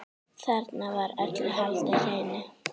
Þarna var öllu haldið hreinu.